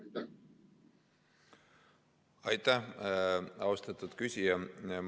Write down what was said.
Aitäh, austatud küsija!